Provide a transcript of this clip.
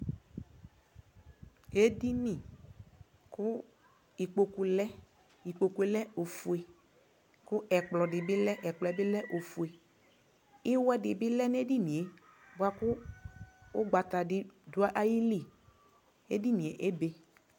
ɛmɛ alʋɛdini ya kʋ atani azɛ ɛkʋ, asii ɛƒʋa di azɛɛkʋ ka dʋnʋ ɛlʋ mʋ adi yaba kʋ atani azɛ ɛkʋɛdi kʋ atani alɛ ɛkʋɛdi kʋ akɔnɛ ɣʋ ʋtikpa lʋ twɛ nʋ ayili kʋ akɔnɔ yawɛ kʋ azɔnʋ gasi